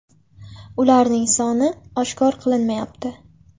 Ularning soni oshkor qilinmayapti.